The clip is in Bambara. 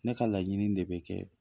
Ne ka laɲini de bɛ kɛ